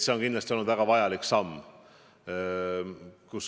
See on kindlasti olnud väga vajalik samm.